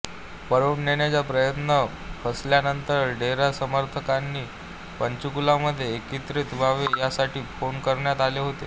पळवून नेण्याचा प्रयत्न फसल्यानंतर डेरा समर्थकांनी पंचकुलामध्ये एकत्रित व्हावे यासाठी फोन करण्यात आले होते